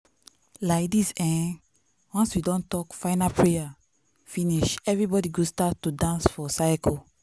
laidis[um]once we don talk final prayer finish everybody go start to dance for circle.